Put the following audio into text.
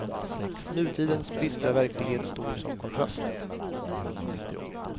Nutidens bistra verklighet står som kontrast.